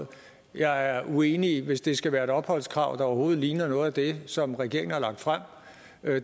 jeg er uenig hvis det skal være et opholdskrav der overhovedet ligner noget af det som regeringen har lagt frem